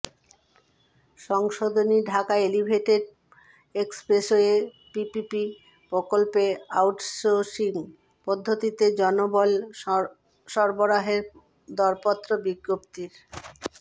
সংশোধনী Dhaka elevated expressway PPP প্রকল্পে outsourcing পদ্বতিতে জনবল সরবরাহের দরপত্র বিজ্ঞপ্তির